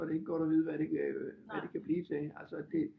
Så er det ikke godt at vide hvad det kan blive til det